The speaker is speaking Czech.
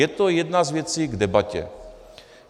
Je to jedna z věcí k debatě.